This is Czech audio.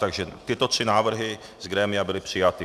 Takže tyto tři návrhy z grémia byly přijaty.